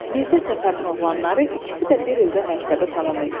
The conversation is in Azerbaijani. Mirzə Səfərin oğlanları ikisi də bir ildə məktəbi tamam etdi.